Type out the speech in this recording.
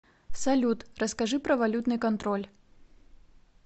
салют расскажи про валютный контроль